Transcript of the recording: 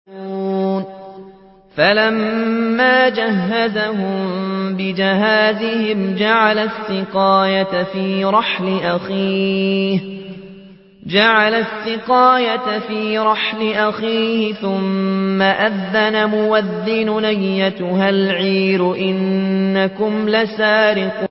فَلَمَّا جَهَّزَهُم بِجَهَازِهِمْ جَعَلَ السِّقَايَةَ فِي رَحْلِ أَخِيهِ ثُمَّ أَذَّنَ مُؤَذِّنٌ أَيَّتُهَا الْعِيرُ إِنَّكُمْ لَسَارِقُونَ